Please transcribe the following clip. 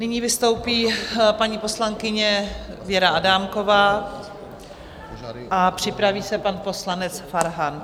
Nyní vystoupí paní poslankyně Věra Adámková a připraví se pan poslanec Farhan.